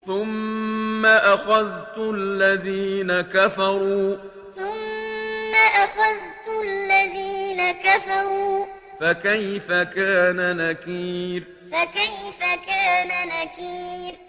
ثُمَّ أَخَذْتُ الَّذِينَ كَفَرُوا ۖ فَكَيْفَ كَانَ نَكِيرِ ثُمَّ أَخَذْتُ الَّذِينَ كَفَرُوا ۖ فَكَيْفَ كَانَ نَكِيرِ